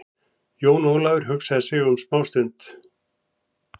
Jón Ólafur hugsaði sig um smá stund.